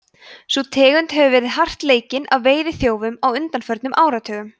sú tegund hefur verið hart leikinn af veiðiþjófum á undanförnum áratugum